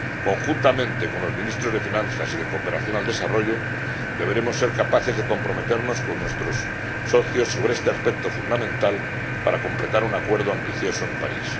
Conjuntamente con los Ministros de Finanzas y de Cooperación al Desarrollo, deberemos ser capaces de comprometernos con nuestros socios sobre este aspecto fundamental, para completar un acuerdo ambicioso en París.